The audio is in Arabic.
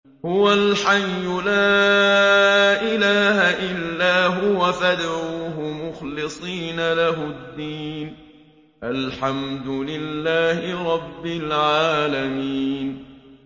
هُوَ الْحَيُّ لَا إِلَٰهَ إِلَّا هُوَ فَادْعُوهُ مُخْلِصِينَ لَهُ الدِّينَ ۗ الْحَمْدُ لِلَّهِ رَبِّ الْعَالَمِينَ